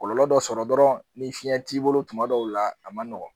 Kɔlɔlɔ dɔ sɔrɔ dɔrɔn ni fiyɛn t'i bolo tuma dɔw la a man nɔgɔn.